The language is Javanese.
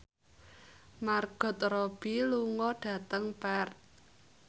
Margot Robbie lunga dhateng Perth